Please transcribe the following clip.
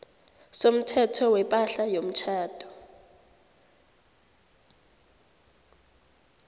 somthetho wepahla yomtjhado